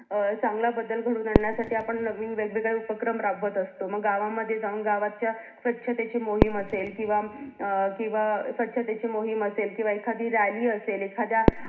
अं चांगला बदल घडवून आणण्या साठी आपण नवीन वेगवेगळे उपक्रम राबवत असतो मग गावामध्ये जाऊन गावातल्या स्वच्छतेची मोहीम असेल किंवा अं किंवा स्वच्छतेची मोहीम असेल किंवा एखादी rally असेल एखाद्या